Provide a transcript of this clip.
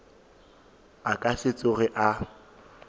a ka se tsoge a